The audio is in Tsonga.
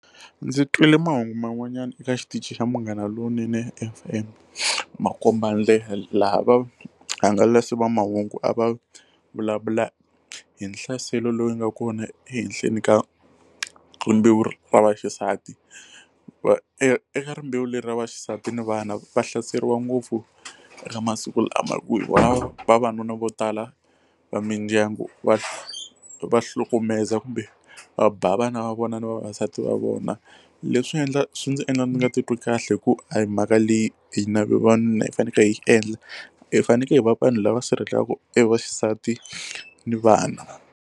Ndzi twile mahungu man'wanyana eka xitichi xa Munghana Lonene FM Makombandlela laha vahangalasi va mahungu a va vulavula hi nhlaselo lowu nga kona ehenhleni ka rimbewu ra vaxisati va eka rimbewu leri ra vaxisati ni vana va hlaseriwa ngopfu eka masiku lama vavanuna vo tala va mindyangu va va hlukumezaka kumbe va ba vana va vona na vavasati va vona leswi swi ndzi endla ndzi nga titwi kahle hi ku a hi mhaka leyi hina vavanuna hi fanekele hi yi endla hi fanekele hi va vanhu lava sirhelelaka e vaxisati ni vana.